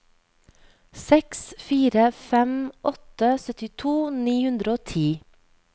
seks fire fem åtte syttito ni hundre og ti